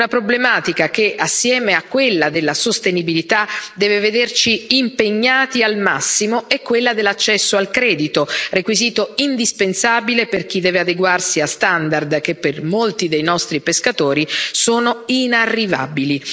Una problematica che, assieme a quella della sostenibilità, deve vederci impegnati al massimo è quella dell'accesso al credito, requisito indispensabile per chi deve adeguarsi a standard che per molti dei nostri pescatori sono inarrivabili.